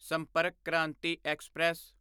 ਸੰਪਰਕ ਕ੍ਰਾਂਤੀ ਐਕਸਪ੍ਰੈਸ